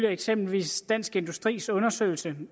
eksempelvis dansk industris undersøgelse